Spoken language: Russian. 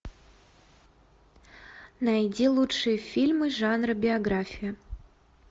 найди лучшие фильмы жанра биография